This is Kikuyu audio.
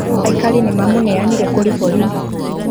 Aikari nĩmamũneanire kũrĩ borithi